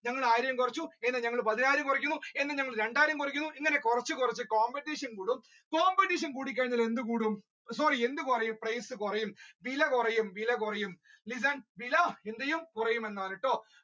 ഞങ്ങൾ ആയിരം കുറച്ചു ഞങ്ങൾ ആയിരം കുറച്ചു ഞങ്ങൾ പതിനായിരം കുറച്ചു എന്ന ഞങ്ങൾ രണ്ടായിരം കുറക്കുന്നു ഇങ്ങനെ കുറച്ചു കുറച്ചു competition കൂടും competition കൂടി കഴിഞ്ഞാൽ എന്ത് കൂടും sorry എന്ത് കുറയും price കുറയും വില കുറയും കുറയും വില എന്ത്ചെയ്യും കുറയും എന്ന് ആന്നേട്ടോ